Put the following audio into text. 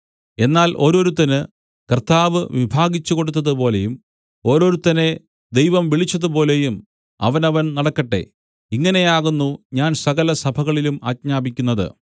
എന്നാൽ ഓരോരുത്തന് കർത്താവ് വിഭാഗിച്ച് കൊടുത്തതു പോലെയും ഓരോരുത്തനെ ദൈവം വിളിച്ചതുപോലെയും അവനവൻ നടക്കട്ടെ ഇങ്ങനെ ആകുന്നു ഞാൻ സകലസഭകളിലും ആജ്ഞാപിക്കുന്നത്